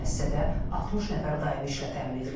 Müəssisədə 60 nəfər daivi işlə təmin edilib.